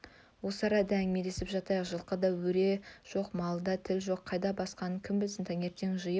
осы арада әңгімелесіп жатайық жылқыда өре жоқ малда тіл жоқ қайда басқанын кім білсін таңертең жиып